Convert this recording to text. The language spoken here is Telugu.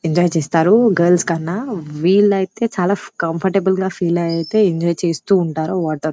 ఎంజాయి చేస్తారు గర్ల్స్ కన్నా విల్లైతే చాలా కంఫార్టబుల్ గా ఫీల్ అయితే ఎంజాయ్ చేస్తూ ఉంటారు వాటర్ --